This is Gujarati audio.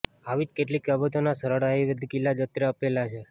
આવી જ કેટલીક બાબતોના સરળ આયુર્વેદિક ઇલાજ અત્રે આપેલા છે